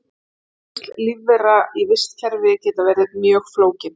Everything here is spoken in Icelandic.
Tengsl lífvera í vistkerfi geta verið mjög flókin.